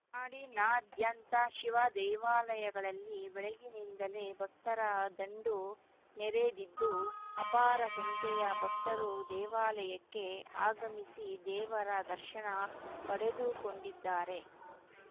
ನಾಡಿನಾದ್ಯಂತ ಶಿವ ದೇವಾಲಯಗಳಲ್ಲಿ ಬೆಳಗ್ಗಿನಿಂದಲೇ ಭಕ್ತರ ದಂಡು ನೆರೆದಿದ್ದು ಅಪಾರ ಸಂಖ್ಯೆಯ ಭಕ್ತರು ದೇವಾಲಯಕ್ಕೆ ಆಗಮಿಸಿ ದೇವರ ದರ್ಶನ ಪಡೆದುಕೊಂಡಿದ್ದಾರೆ